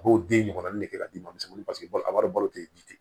A b'o den ɲɔgɔnna de k'a di ma ko a wari balo tɛ ji ten